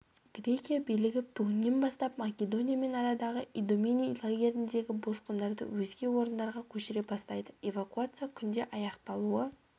грекия билігі бүгіннен бастап македониямен арадағы идомени лагеріндегі босқындарды өзге орындарға көшіре бастайды эвакуация күнде аяқталуы